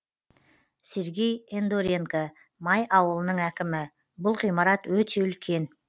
сергей ендоренко май ауылының әкімі бұл ғимарат өте үлкен